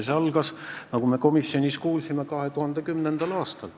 See algas, nagu me komisjonis kuulsime, 2010. aastal.